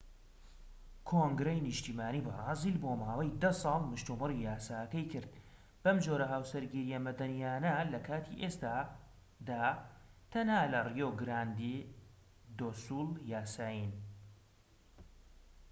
کۆنگرەی نیشتیمانی بەرازیل بۆ ماوەی 10 ساڵ مشتومڕی یاساکەی کرد، ئەم جۆرە هاوسەرگیرییە مەدەنیانە لە کاتی ئێستادا تەنها لەڕیۆ گراندێ دۆ سول یاسایین‎